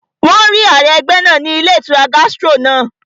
Wọ́n rí ààrẹ ẹgbẹ́ náà ní ilé ìtura Gastro náà